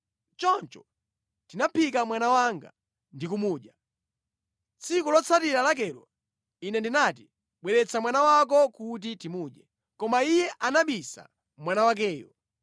Choncho tinaphika mwana wanga ndi kumudya. Tsiku lotsatira lakelo ine ndinati, ‘Bweretsa mwana wako kuti timudye,’ koma iye anabisa mwana wakeyo.”